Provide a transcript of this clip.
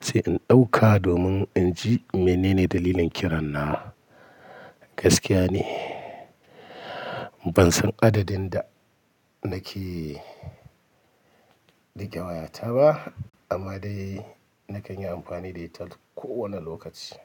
sai in ɗauka domin in ji me nene dalilin kiran na. Gaskiya ne ban san adadin da nake rike wayata ba amma dai nakan yi amfani da ita kowane lokaci.